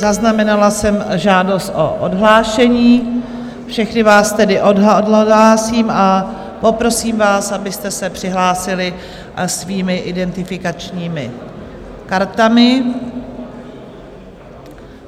Zaznamenala jsem žádost o odhlášení, všechny vás tedy odhlásím a poprosím vás, abyste se přihlásili svými identifikačními kartami.